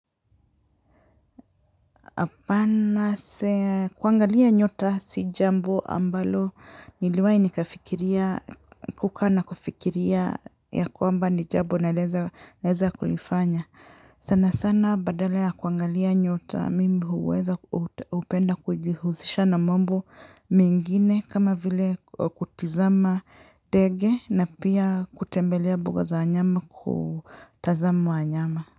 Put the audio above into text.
Apana kuangalia nyota sijambo ambalo niliwai nikafikiria kukanakufikiria ya kwamba ni jambo naweza kulifanya sana sana badala kuangalia nyota mimi huweza upenda kujihuzisha na mambo mengine kama vile kutizama ndege na pia kutembelea mbuga za wanyama kutazama wanyama.